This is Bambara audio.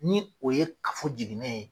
Ni o ye kafo jinɛ ye.